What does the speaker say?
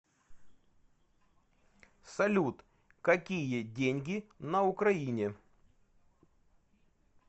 салют какие деньги на украине